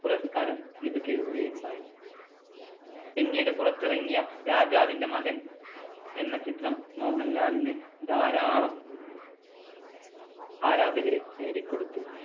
പുരസ്കാരം ലഭിക്കുകയുണ്ടായി. പിന്നീട് പുറത്തിറങ്ങിയ രാജാവിന്‍റെ മകൻ എന്ന ചിത്രം മോഹൻലാലിന് ധാരാളം ആരാധകരെ നേടിക്കൊടുത്തു.